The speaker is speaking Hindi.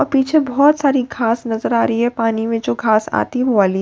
पीछे बहोत सारी घास नजर आ रही है पानी में जो घास आती वो वाली।